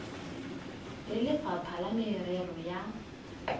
le lefapha la merero ya